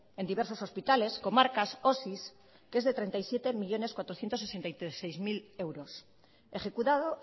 en diversos hospitales comarcas que es de treinta y siete millónes cuatrocientos sesenta y seis mil euros ejecutado